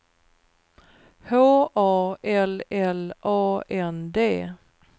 H A L L A N D